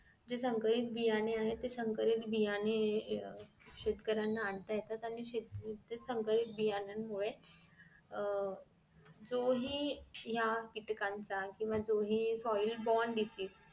जे संकरित बियाणं आहेत ती संकरित बियाणे अह शेतकऱ्यांना आणता येतात आणि शेती त्या संकरित बियांमुळे अह जो हि ह्या कीटकांचा केंव्हा जोही soil bond disease